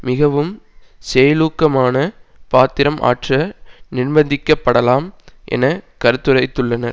மிகவும் செயலூக்கமான பாத்திரம் ஆற்ற நிர்பந்திக்க படலாம் என கருத்துரைத்துள்ளனர்